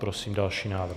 Prosím další návrh.